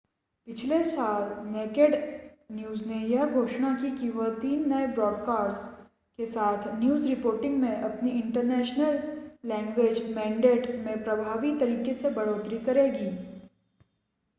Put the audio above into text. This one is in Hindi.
पिछले सप्ताह नेकेड न्यूज़ ने यह घोषणा की कि वह तीन नए ब्रॉडकास्ट्स के साथ न्यूज़ रिपोर्टिंग में अपनी इंटरनेशन लैंग्वेज़ मेनडेट में प्रभावी तरीके से बढ़ोतरी करेगी